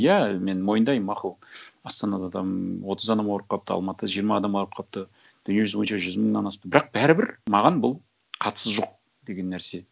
иә мен мойындаймын мақұл астанада там отыз адам ауырып қалыпты алматыда жиырма адам ауырып қалыпты дүниежүзі бойынша жүз мыңнан асыпты бірақ бәрібір маған бұл қатысы жоқ деген нәрсе